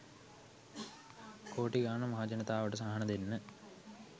කෝටි ගාන මහජනතාවට සහන දෙන්න